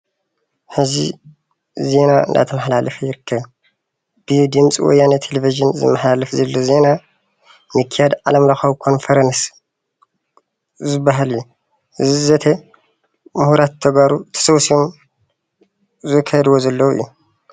ሐዚ ዜና እናተማሓለፈ ይርከብ። ብድምፂ ወያነ ቴሌቭዥን ዝመሓለፍ ዘሎ ዜና ምክያድ ዓለም ለኻዊ ኮንፈረንስ ዝበሃል እዪ። እዚ ዘተ ምሁራት ተጋሩ ተሰብሲቦም ዘከይድዎ ዘለው እዩ።